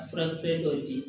A furakisɛ dɔw di